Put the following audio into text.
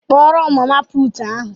Kpọọrọ m mama puutu ahụ!